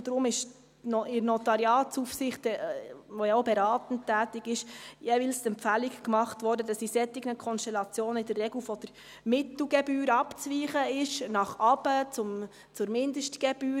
Deshalb wurde in der Notariatsaufsicht, die ja auch beratend tätig ist, jeweils die Empfehlung gemacht, dass in solchen Konstellationen in der Regel von der Mittelgebühr abzuweichen ist, nach unten, zur Mindestgebühr.